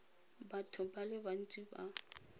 batho ba le bantsi ba